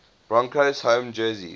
broncos home jersey